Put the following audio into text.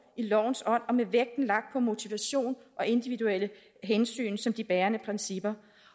i lovens ånd og med vægten lagt på motivation og individuelle hensyn som de bærende principper